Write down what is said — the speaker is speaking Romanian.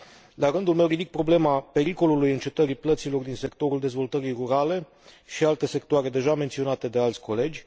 La rândul meu, ridic problema pericolului încetării plăților din sectorul dezvoltării rurale și alte sectoare deja menționate de alți colegi.